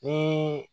Ni